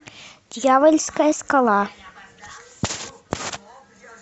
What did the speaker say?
дьявольская скала